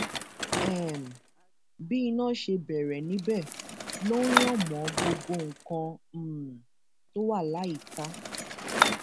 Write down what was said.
um bí iná ṣe bẹrẹ níbẹ ló ń ràn mọ gbogbo nǹkan um tó wà láyìíká